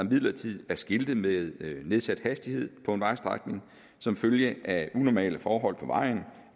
midlertidigt er skiltet med nedsat hastighed på en vejstrækning som følge af unormale forhold på vejen